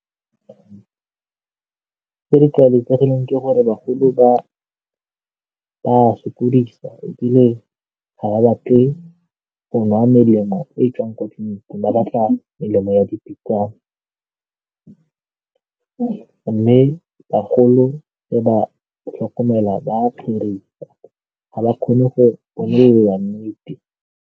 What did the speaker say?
Tse di tlwaelegileng ke gore bagolo ba ba sokodisa ebile ga ba batle go nwa melemo e tswang kwa tleliniking, ba batla melemo ya mme bagolo le ba tlhokomela ba ga ba kgone go bona nnete.